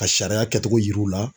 Ka sariya kɛcogo yira u la.